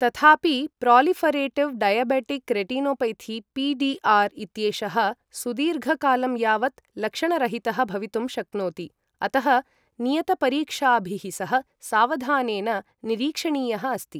तथापि proliferative diabetic retinopathy PDR इत्येषः सुदीर्घकालं यावत् लक्षणरहितः भवितुं शक्नोति, अतः नियतपरीक्षाभिः सह सावधानेन निरीक्षणीयः अस्ति।